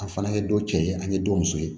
A fana ye dɔ cɛ ye an ye don muso ye